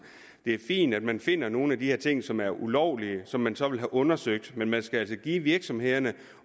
det er fint at man finder nogle af de her ting som er ulovlige og som man så vil have undersøgt men man skal altså give virksomhederne